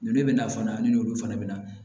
N'e bɛna fana ne n'olu fana bɛ na